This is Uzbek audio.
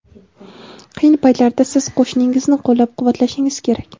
qiyin paytlarda siz qo‘shningizni qo‘llab-quvvatlashingiz kerak.